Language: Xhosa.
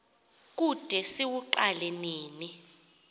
kude siwuqale nini